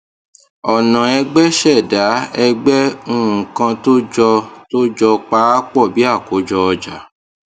ọna ẹgbẹ ṣẹda ẹgbẹ nkan tó jọ tó jọ paapọ bí akojo ọja